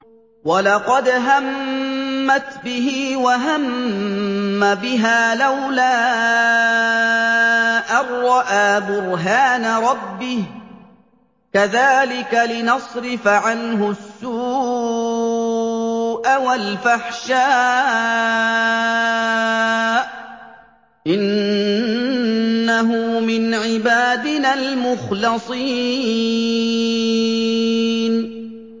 وَلَقَدْ هَمَّتْ بِهِ ۖ وَهَمَّ بِهَا لَوْلَا أَن رَّأَىٰ بُرْهَانَ رَبِّهِ ۚ كَذَٰلِكَ لِنَصْرِفَ عَنْهُ السُّوءَ وَالْفَحْشَاءَ ۚ إِنَّهُ مِنْ عِبَادِنَا الْمُخْلَصِينَ